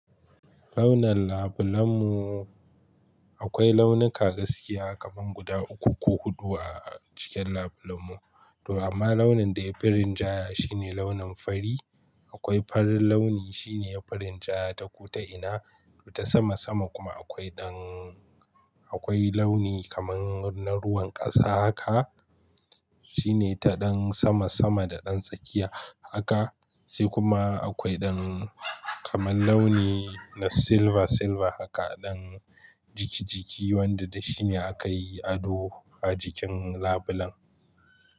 Launin labulenmu akwai launuka gaskiya kaman guda uku ko hudu a cikin labulenmu to amma launin da ya fi rinjaya shine launin fari. Akwai farin launi shine ya fi rinjaya ta kuta ina ta sama sama kuma akwai ɗan akwai launi kaman na ruwan ƙasa haka shine ta ɗan sama sama da ɗan tsakiya haka sai kuma akwai ɗan kaman launi na silva silva haka ɗan jiki jiki wanda da shi ne aka yi ado a jikin labelan.